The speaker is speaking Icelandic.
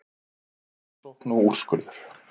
Rannsókn og úrskurður